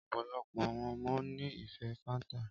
Ọpọlọpọ awọn ọmọ ni ife fanta.